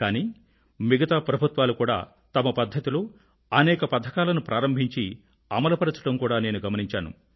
కానీ మిగతా ప్రభుత్వాలు కూడా తమ పధ్ధతిలో అనేక పథకాలను ప్రారంభించి అమలుపరచడం కూడా నేను గమనించాను